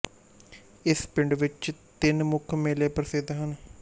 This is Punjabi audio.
ਇਸ ਪਿੰਡ ਵਿੱਚ ਤਿੰਨ ਮੁੱਖ ਮੇਲੇ ਪ੍ਰਸਿੱਧ ਹਨ